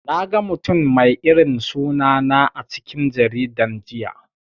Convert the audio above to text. Naga mutum mai irin suna na a cikin jaridan jiya.